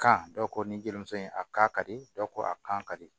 Kan dɔw ko nin jelimuso in a ka di dɔw ko a kan ka di